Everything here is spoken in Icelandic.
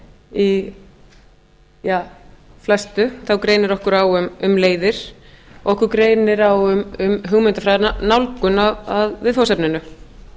í flestu þá greinir okkur á um leiðir okkur greinir á um hugmyndafræðina nálgun að viðfangsefninu